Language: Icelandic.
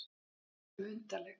Öll erum við undarleg.